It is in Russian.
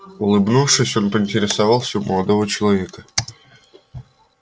улыбнувшись он поинтересовался у молодого человека